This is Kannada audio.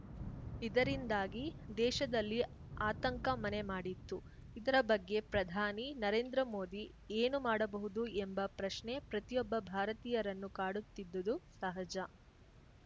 ಇದರಿಂದಾಗಿ ದೇಶದಲ್ಲಿ ಆತಂಕ ಮನೆ ಮಾಡಿತ್ತು ಇದರ ಬಗ್ಗೆ ಪ್ರಧಾನಿ ನರೇಂದ್ರ ಮೋದಿ ಏನು ಮಾಡಬಹುದು ಎಂಬ ಪ್ರಶ್ನೆ ಪ್ರತಿಯೊಬ್ಬ ಭಾರತೀಯರನ್ನು ಕಾಡುತ್ತಿದ್ದುದು ಸಹಜ